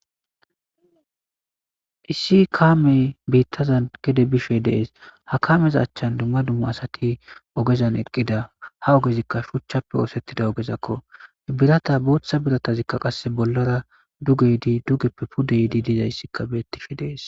Issi kaamee beeththazan gede bishe de7ees; ha kaameza achchan dumma dumma asathi ogezan eqqida; ha ogezikka shuchchappe ooseththida ogezakko; biratha booththa birathazikka qassi billara duge yide dugeppe pude yidi dizayssikka beeththishe de7ees.